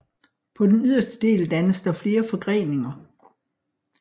På den yderste del dannes der flere forgreninger